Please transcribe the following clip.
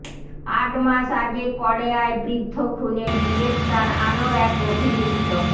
আট মাস আগে কড়েয়ায় বৃদ্ধ খুনে গ্রেফতার আরও এক অভিযুক্ত